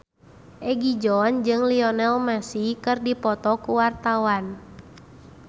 Egi John jeung Lionel Messi keur dipoto ku wartawan